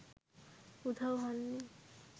উধাও হননি